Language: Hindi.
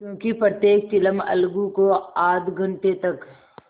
क्योंकि प्रत्येक चिलम अलगू को आध घंटे तक